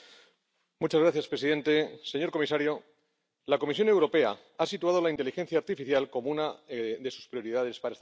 Señor presidente, señor comisario, la Comisión Europea ha situado la inteligencia artificial como una de sus prioridades para esta legislatura.